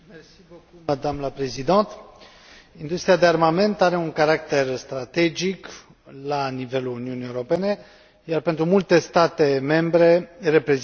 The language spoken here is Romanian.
Industria de armament are un caracter strategic la nivelul Uniunii Europene, iar pentru multe state membre reprezintă și o sursă de venituri consistente.